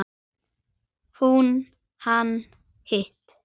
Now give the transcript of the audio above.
Hún: Hann hitti.